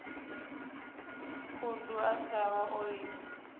khundu a shavha o livha